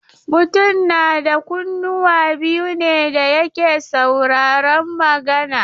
Mutum na da kunnuwa biyu ne da yake saurarun magana.